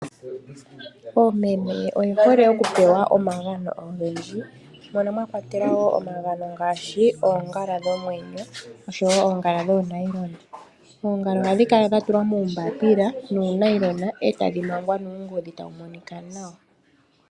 Oomeme oye hole okupewa omagano ogendji mono mwakwatelwa omagano ngaashi oongala dhomeenyo oshowo oongala dhoonailona. Oongala ohadhi kala dha tulwa muumbaapila nuu nailona etadhi mangwa nuungodhi tawu monika nawa.